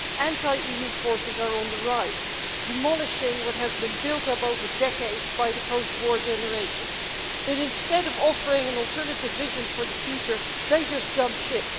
Anti-EU forces are on the rise, demolishing what has been built up over decades by the post war generations but, instead of offering an alternative vision for the future, they just jump ship.